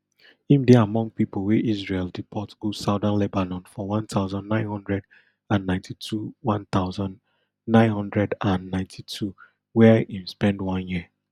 im dey among pipo wey israel deport go southern lebanon for one thousand, nine hundred and ninety-two one thousand, nine hundred and ninety-two wia im spend one year